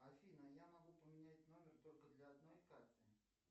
афина я могу поменять номер только для одной карты